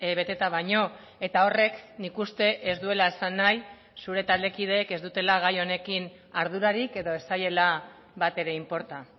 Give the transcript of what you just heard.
beteta baino eta horrek nik uste ez duela esan nahi zure taldekideek ez dutela gai honekin ardurarik edo ez zaiela bat ere inporta